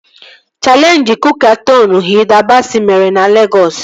Chaleenjị kook-a-tọn Hilda Basị mere na Legọs